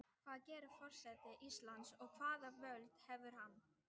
Hvað gerir forseti Íslands og hvaða völd hefur hann?